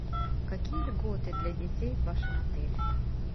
какие льготы для детей в вашем отеле